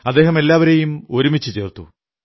അദ്ദേഹം എല്ലാവരെയും ഒരുമിച്ചു ചേർത്തു